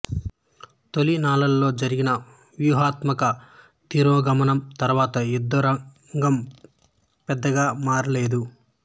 తొలి నాళ్ళలో జరిగిన వ్యూహాత్మక తిరోగమనం తరువాత యుద్ధ రంగం పెద్దగా మారలేదు